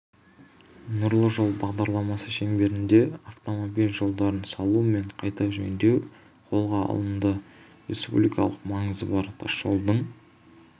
нұрлы жол бағдарламасы шеңберінде автомобиль жолдарын салу мен қайта жөндеу қолға алынды республикалық маңызы бар тасжолдың